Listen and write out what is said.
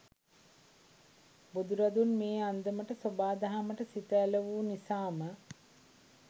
බුදුරදුන් මේ අන්දමට සොබා දහමට සිත ඇල වූ නිසාම